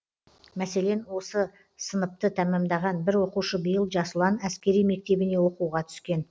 мәселен осы сыныпты тәмамдаған бір оқушы биыл жас ұлан әскери мектебіне оқуға түскен